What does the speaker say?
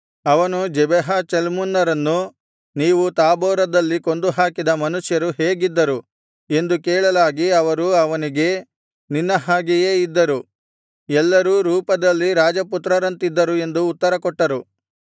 ಅವನು ಜೆಬಹ ಚಲ್ಮುನ್ನರನ್ನು ನೀವು ತಾಬೋರದಲ್ಲಿ ಕೊಂದುಹಾಕಿದ ಮನುಷ್ಯರು ಹೇಗಿದ್ದರು ಎಂದು ಕೇಳಲಾಗಿ ಅವರು ಅವನಿಗೆ ನಿನ್ನ ಹಾಗೆಯೇ ಇದ್ದರು ಎಲ್ಲರೂ ರೂಪದಲ್ಲಿ ರಾಜಪುತ್ರರಂತಿದ್ದರು ಎಂದು ಉತ್ತರಕೊಟ್ಟರು